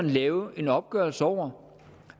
lave en opgørelse over